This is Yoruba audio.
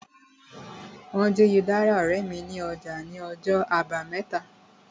Wọ́n jí udara ọ̀rẹ́ mi ní ọjà ní ọjọ́ àbámẹ́ta